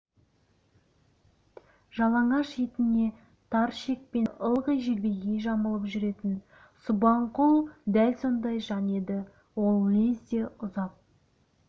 жалаңаш етіне тар шекпенді ылғи желбегей жамылып жүретін субанқұл дәл сондай жан еді ол лезде ұзап